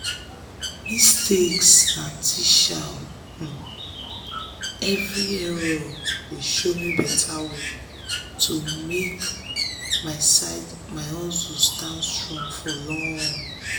mistakes na teacher! every error dey show me better way to make my hustle stand strong for long.